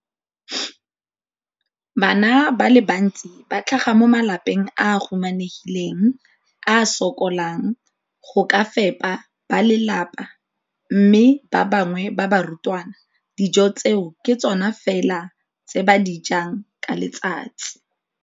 Bana ba le bantsi ba tlhaga mo malapeng a a humanegileng a a sokolang go ka fepa ba lelapa mme ba bangwe ba barutwana, dijo tseo ke tsona fela tse ba di jang ka letsatsi.